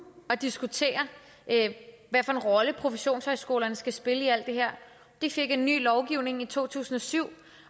at diskutere hvad for en rolle professionshøjskolerne skal spille i alt det her de fik en ny lovgivning i to tusind og syv